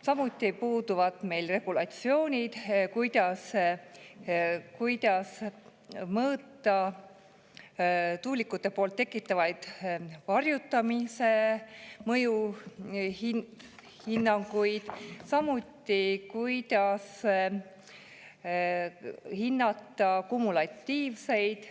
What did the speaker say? Samuti puuduvad meil regulatsioonid, kuidas mõõta tuulikute tekitatava varjutamise mõju ning kuidas hinnata tuuleparkide kumulatiivseid